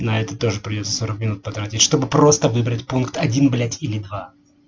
на это тоже придётся сорок минут потратить чтобы просто выбрать пункт один блять или два